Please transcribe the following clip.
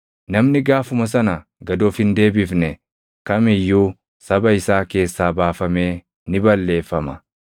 Namni gaafuma sana gad of hin deebifne kam iyyuu saba isaa keessaa baafamee ni balleeffama.